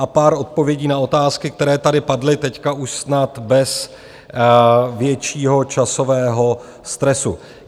A pár odpovědí na otázky, které tady padly, teď už snad bez většího časového stresu.